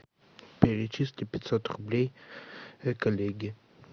перечисли пятьсот рублей коллеге